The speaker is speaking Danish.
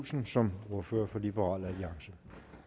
olsen som ordfører for liberal alliance